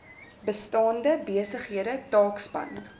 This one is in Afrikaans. bestaande besighede taakspan